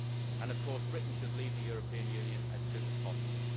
And, of course, Britain should leave the European Union as soon as possible.